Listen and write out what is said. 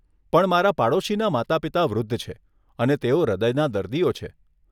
પણ મારા પાડોશીના માતા પિતા વૃદ્ધ છે અને તેઓ હૃદયના દર્દીઓ છે.